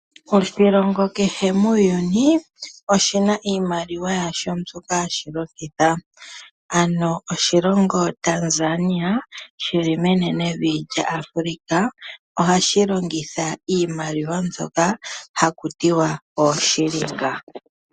Oshilongo kehe muuyuni oshina iimaliwa yasho mbyoka hashi longitha, ano oshilongo Tanzania shili menenevi lyAfrica, ohashi longitha iimaliwa mbyoka hakutiwa ooshilinga.